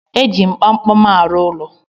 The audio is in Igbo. E ji m kpamkpam arụ ụlọ